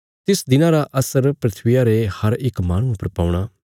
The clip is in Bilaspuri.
तिस दिना रा असर धरतिया रे हर इक माहणुये पर पौणा